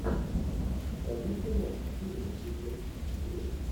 шарлиз терон фильмик у тебя в списке есть